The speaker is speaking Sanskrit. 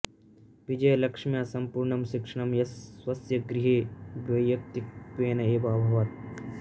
विजयलक्ष्म्याः सम्पूर्णं शिक्षणं स्वस्य गृहे वैयक्तिकत्वेन एव अभवत्